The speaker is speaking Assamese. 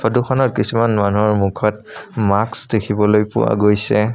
ফটোখনত কিছুমান মানুহৰ মুখত মাস্ক দেখিবলৈ পোৱা গৈছে।